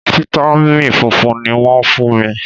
Fítámìn funfun ni wọ́n fún mi.